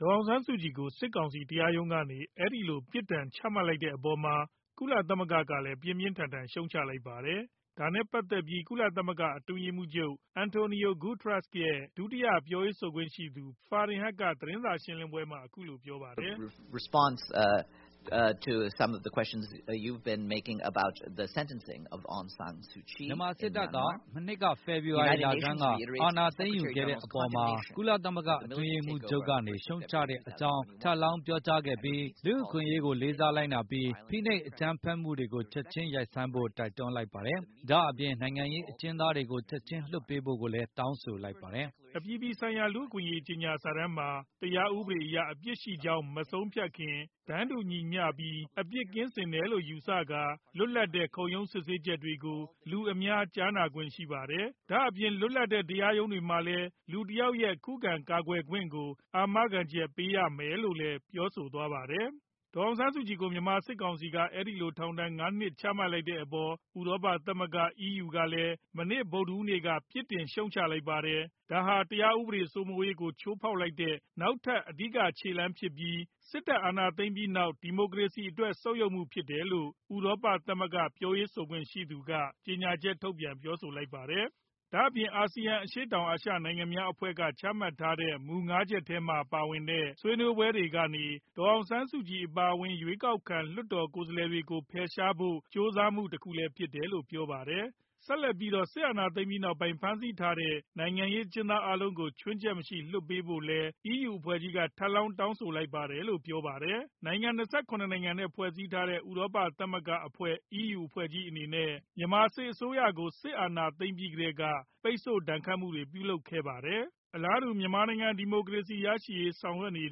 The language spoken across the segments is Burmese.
ဒေါ်အောင်ဆန်းစုကြည်ကို စစ်ကောင်စီတရားရုံးကနေ အဲဒီလို ပြစ်ဒဏ်ချမှတ်လိုက်တဲ့အပေါ်မှာ ကုလသမဂ္ဂကလည်း ပြင်းပြင်းထန်ထန် ရှုတ်ချလိုက်ပါတယ်။ ဒါနဲ့ ပတ်သက်ပြီး ကုလသမဂ္ဂ အတွင်းရေးမှူးချုပ် António Guterres ရဲ့ ဒုတိယ ပြောရေးဆိုခွင့်ရှိသူ Farhan Haq က သတင်းစာရှင်းလင်းပွဲမှာ အခုလိုပြောပါတယ်။ " မြန်မာစစ်တပ်က မနှစ် ဖေဖော်ဝါရီလဆန်းက အာဏာသိမ်းယူခဲ့တဲ့အပေါ်မှာ ကုလသမဂ္ဂ အထွေထွေအတွင်းရေးမှူးချုပ် ကနေ ရှုတ်ချတဲ့အကြောင်း ထပ်လောင်ပြောကြားခဲ့ပြီး လူ့အခွင့်အရေးကို လေးစွားလိုက်နာပြီး ဖိနိုပ်အကြမ်းဖက်မှုတွေကို ချက်ချင်းရပ်ဆိုင်းဖို့ တိုက်တွန်းလိုက်ပါတယ်။ ဒါအပြင် နိုင်ငံရေး အကျဉ်းသားတွေကို ချက်ခြင်းလွှတ်ပေးဖို့လည်း တောင်းဆိုလိုက်ပါတယ်။ " အပြည်ပြည်ဆိုင်ရာ လူ့အခွင့်အရေးကြေညာစာတမ်းတွင် တရားဥပဒေအရ အပြစ်ရှိကြောင်း မဆုံးဖြတ်ခင် တန်းတူညီမျှပြီး အပြစ်ကင်းစင်သည်ဟု ယူဆကာ လွတ်လပ်တဲ့ ခုံရုံး စစ်ဆေးချက်တွေကို လူအများ ကြားနာခွင့်ရှိပါတယ်။ ဒါအပြင် လွတ်လပ်မှုရှိတဲ့ တရားရုံးတွေမှာလည်း လူတယောက်ရဲ့ခုခံကာကွယ်ခွင့် အားလုံးကို အာမခံချက်ပေးရပါမယ်။ ဒေါ်အောင်ဆန်းစုကြည် ကို မြန်မာစစ်ကောင်စီက အဲဒီလို ထောင်ဒဏ် ၅ နှစ် ချမှတ်လိုက်တဲ့အပေါ် ဥရောပ သမဂ္ဂ EU ကလည်း မနေ့ ဗုဒ်ဓဟူးနေ့က ပြစ်တင်ရှုတ်ချလိုက်က်ပါတယ်။ ဒါဟာ တရားဥပဒေ စိုးမိုးရေးကို ချိုးဖောက်လိုက်တဲ့ နောက်ထပ် အဓိက ခြေလှမ်းဖြစ်ပြီး စစ်တပ် အာဏာသိမ်းပြီးနောက် ဒီမိုကရေစီအတွက် ဆုတ်ယုတ်မှုဖြစ်တယ်လို့ ဥရောပသမဂ္ဂ ပြောရေးဆိုခွင့်ရှိသူ က ကြေညာချက်ထုတ်ပြောဆိုလိုက်ပါတယ်။ ဒါ့အပြင် ASEAN အရှေ့တောင် အာရှနိုင်ငံများအဖွဲ့က ချမှတ်ထားတဲ့ မူ ၅ ချက်ထဲမှာ ပါဝင်တဲ့ ဆွေးနွေးပွဲတွေကနေ ဒေါ်အောင်ဆန်းစုကြည် အပါအဝင် ရွေးကောက်ခံ လွှတ်တော်ကိုယ်စားလှယ်တွေကို ဖယ်ရှားဖို့ ကြိုးစားမှုတခုလည်းဖြစ်တယ်လို့ ပြောပါတယ်။ စစ်အာဏာသိမ်းပြီးနောက်ပိုင်း ဖမ်းဆီးထားတဲ့ နိုင်ငံရေး အကျဉ်းသား အားလုံးကို ခြွင်းချက်မ ရှိ ချက်ချင်းလွှတ်ပေးဖို့လည်း ထပ်လောင်း တောင်းဆိုလိုက်ပါတယ်လို့ ပြောပါတယ်။ နိုင်ငံ ၂၇ နိုင်ငံ နဲ့ ဖွဲ့စည်းထားတဲ့ ဥရောပ သမဂ္ဂအဖွဲ့ EU အဖွဲ့ကြီးအနေနဲ့ မြန်မာစစ်အစိုးရကို စစ်အာဏာသိမ်းပြီးကတည်းက ပိတ်ဆို့ ဒဏ်ခတ်မှုတွေ ပြုလုပ်ထားပါတယ်။ အလားတူ မြန်မာနိုင်ငံ ဒီမိုကရေစီရရှိရေး ဆောင်ရွက်နေ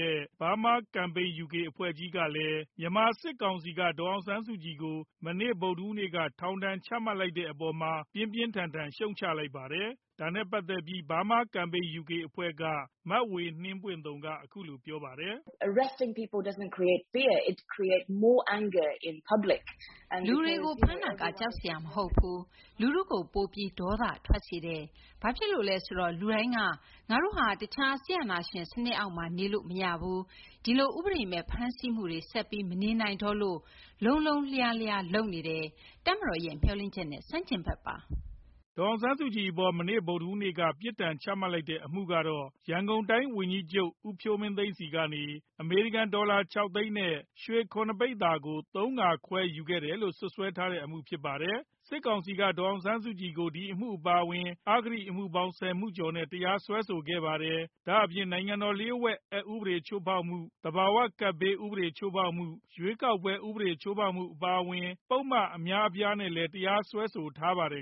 တဲ့ Burma Campaign UK အဖွဲ့ကလည်း ဒေါ်အောင်ဆန်းစုကြည်ကို မနေ့ ဗုဒ်ဓဟူးနေ့က ထောင်ဒဏ်ချမှတ် လိုက်တဲ့အပေါ်မှာ ပြင်းပြင်းထန်ထန် ရှုတ်ချလိုက်ပါတယ်။ ဒါနဲ့ပတ်သက်ပြီး Burma Campaign UK အဖွဲ့ က မဝေနှင်းပွင့်သုန် က အခုလို ပြောပါတယ်။ “လူတွေကို ဖမ်းတာက ကြောက်စရာ မဟုတ်ဘူး၊ လူထုကို ပိုပြီး ဒေါသ ထွက်စေတယ်။ ဘာဖြစ်လို့လဲ ဆိုတော့ လူတိုင်းက ငါတို့ဟာ တခြား စစ်အာဏာရှင် စနစ်အောက်မှာ နေလို့မရဘူး၊ ဒီလို ဥပဒေမဲ့ ဖမ်းဆီးမှုတွေ ဆက်ပြီး မနေနိုင်တော့လို့ လုံးလုံးလျားလျား လုပ်နေတယ်။ တပ်မတော်ရဲ့မျှော်လင့်ချက်နဲ့ ဆန့်ကျင်ဘက်ပါ။” ဒေါ်အောင်ဆန်းစုကြည်အပေါ် မနေ့ ဗုဒ်ဓဟူးနေ့က ပြစ်ဒဏ်ချမှတ်တဲ့ အမှုကတော့ ရန်ကုန်တိုင်းဝန်ကြီးချုပ် ဦးဖြိုးမင်းသိန်းဆီ ကနေ အမေရိကန် ဒေါ်လာ ၆ သိန်းနဲ့ ရွှေ ၇ ပိဿာကို ၃ ခါ ခွဲယူခဲ့တယ်လို့ စွပ်စွဲထားတဲ့အမှု ဖြစ်ပါတယ်။ စစ်ကောင်စီဟာ ဒေါ်အောင်ဆန်းစုကြည်ကို ဒီအမှုအပါအဝင် အဂတိအမှုပေါင်း ၁၀ မှုကျော်နဲ့ တရားစွဲဆိုခဲ့ပါတယ်။ ဒါအပြင် နိုင်ငံတော်လျှို့ဝှက် အက်ဥပဒေချိုးဖောက်မှု၊ သဘာဝကပ်ဘေးဥပဒေ ချိုးဖောက်မှု၊ ရွေးကောက်ပွဲဥပဒေချိုးဖောက်မှု အပါအဝင် ပုဒ်မအများအပြားနဲ့ တရားစွဲဆိုခံထားရပါတယ်